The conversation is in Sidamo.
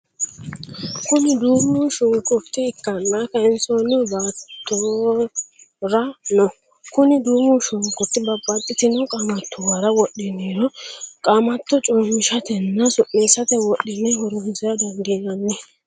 Kuni duumo shunkurta ikkanna kayinsonni baattora no. Kuni duumu shunkurt babaxitinno qaamattuwara wodhiniro qaamatto coommishate nna su'nisate wodhine horonsira dandinann